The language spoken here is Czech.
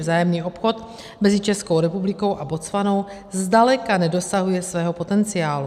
Vzájemný obchod mezi Českou republikou a Botswanou zdaleka nedosahuje svého potenciálu.